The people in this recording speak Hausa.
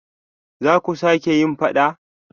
Zaku sake yin fada?